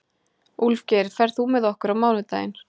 Úlfgeir, ferð þú með okkur á mánudaginn?